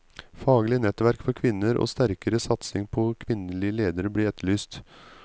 Faglige nettverk for kvinner og sterkere satsing på kvinnelige ledere blir etterlyst.